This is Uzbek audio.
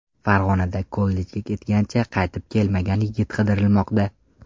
Farg‘onada kollejga ketgancha qaytib kelmagan yigit qidirilmoqda.